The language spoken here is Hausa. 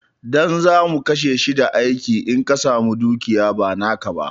Ɗan zamu kashe shi da aiki in ka samu dukiya ba naka ba